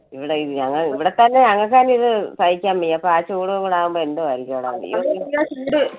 ഇവിടെ അഹ് ഇവിടത്തെ തന്നെ ഞങ്ങൾക്ക് തന്നെ ഇത് സഹിക്കാൻ വയ്യ. അപ്പൊ ആ ചൂട് കൂടെ ആകുമ്പോ എന്തുവായിരിക്കും അവിടെ. അയ്യോ ചൂട്